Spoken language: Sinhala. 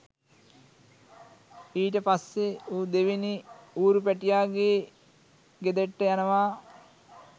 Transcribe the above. ඊට පස්සේ ඌ දෙවැනි ඌරු පැටියාගේ ගෙදෙට්ට යනවා